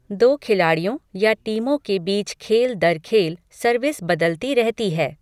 दो खिलाड़ियों या टीमों के बीच खेल दर खेल सर्विस बदलती रहती है।